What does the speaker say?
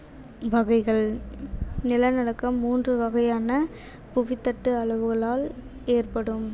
வகைகள் நிலநடுக்கம் மூன்று வகையான புவித்தட்டு அளவுகளால் ஏற்படும்